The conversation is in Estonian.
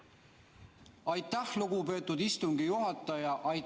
Aitäh, lugupeetud istungi juhataja!